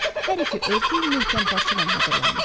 Hər iki örtük möhkəm parçadan hazırlanmışdı.